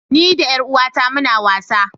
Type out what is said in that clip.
Ni da yaruwata muna wasa.